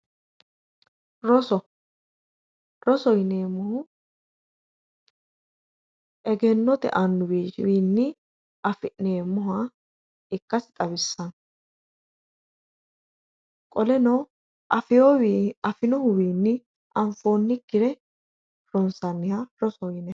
Rosoho yineemmohu egennote annuwa wiinni afi'neemmoha ikkasi xawissawoo qoleno afinohuwiinni anfoonnikkire ronsanniha rosoho yineemmo